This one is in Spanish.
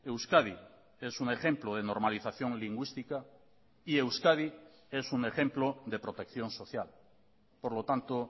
euskadi es un ejemplo de normalización lingüística y euskadi es un ejemplo de protección social por lo tanto